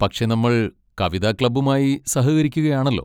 പക്ഷെ, നമ്മൾ കവിത ക്ലബ്ബുമായി സഹകരിക്കുകയാണല്ലോ.